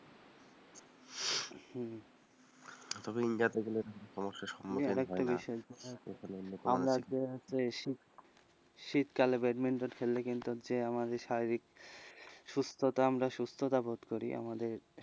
তবে ইন্ডিয়ায় গেলে সমস্যার সম্মূখীন হই না শীতকালে ব্যাডমিন্টন খেললে কিন্তু আমরা শারীরিক সুস্থতা আমরা সুস্থতাবোধ করি আমাদের,